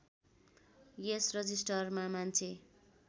यस रजिस्टरमा मान्छे